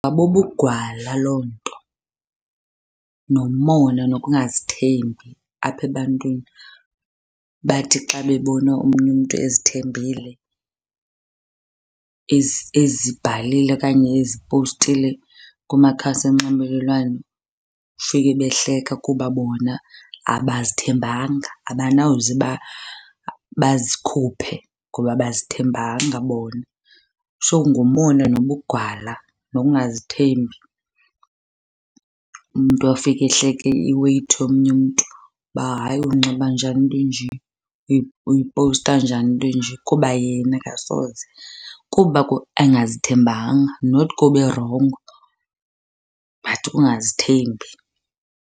Bubugwala loo nto nomona nokungazithembi apha ebantwini. Bathi xa bebona omnye umntu ezithembile, ezibhalile okanye ezipostile kumakhasi onxibelelwano ufike behleka kuba bona abazithembanga, abanawuze bazikhuphe ngoba abazithembanga bona. So ngumona nobugwala nokungazithembi. Umntu afike ehleka i-weight yomnye umntu uba hayi unxiba njani into enje uyipowusta njani into nje kuba yena akasoze, kuba engazithembanga not kuba erongo but kungazithembi.